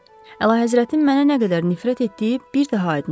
Əlahəzrətin mənə nə qədər nifrət etdiyi bir daha aydın oldu.